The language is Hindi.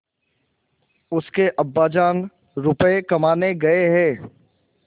उसके अब्बाजान रुपये कमाने गए हैं